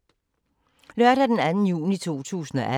Lørdag d. 2. juni 2018